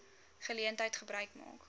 geleentheid gebruik maak